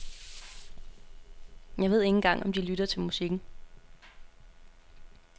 Jeg ved ikke engang om de lytter til musikken.